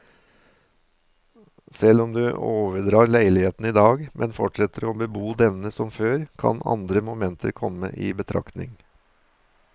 Selv om du overdrar leiligheten i dag, men fortsetter å bebo denne som før, kan andre momenter komme i betraktning.